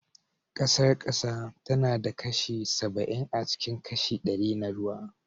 Ƙasar ƙasa tana da kashi saba'in acikin kashi ɗari na ruwa